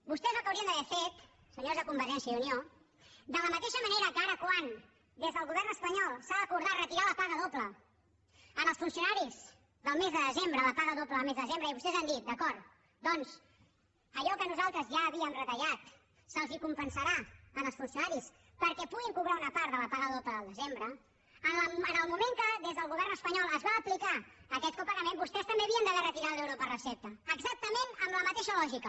vostès el que haurien d’haver fet senyors de convergència i unió de la mateixa manera que ara quan des del govern espanyol s’ha acordat retirar la paga doble als funcionaris del mes de desembre la paga doble del mes de desembre i vostès han dit d’acord doncs allò que nosaltres ja havíem retallat se’ls compensarà als funcionaris perquè puguin cobrar una part de la paga doble del desembre en el moment que des del govern espanyol es va aplicar aquest copagament vostès també havien d’haver retirat l’euro per recepta exactament amb la mateixa lògica